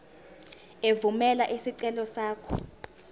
evumela isicelo sakho